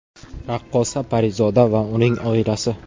Raqqosa Parizoda va uning oilasi.